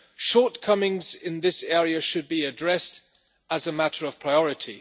shortcomings in this area should be addressed as a matter of priority.